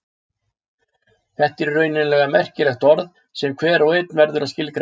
Þetta er í raun merkilegt orð sem hver og einn verður að skilgreina.